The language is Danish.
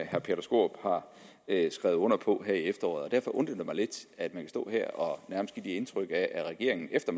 herre peter skaarup har skrevet under på her i efteråret derfor undrer det mig lidt at man kan stå her og nærmest give indtrykket af at regeringen efter